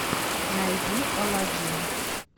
найди алладин